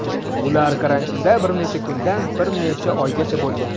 Ular karantinda bir necha kundan bir necha oygacha bo‘lgan.